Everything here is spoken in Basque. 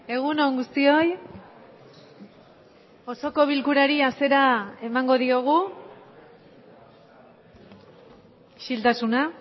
egun on guztioi osoko bilkurari hasiera emango diogu isiltasuna